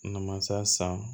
Namasa san